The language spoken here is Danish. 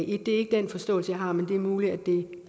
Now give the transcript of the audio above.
et det er ikke den forståelse jeg har men det er muligt at det